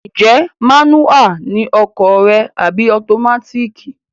Ǹjẹ́ mánúhà ni ọkọ̀ rẹ àbí ọtomátíìkì?